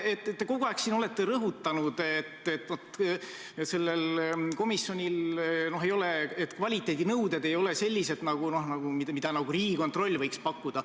Te olete siin kogu aeg rõhutanud, et vaat, selle komisjoni kvaliteedinõuded ei ole sellised, mida Riigikontroll võiks pakkuda.